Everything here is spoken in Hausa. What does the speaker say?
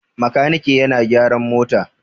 Makaniki yana gyaran mota.